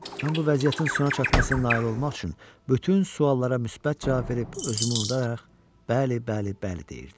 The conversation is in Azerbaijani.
Mən bu vəziyyətin sona çatmasına nail olmaq üçün bütün suallara müsbət cavab verib, özümü unudaraq, bəli, bəli, bəli deyirdim.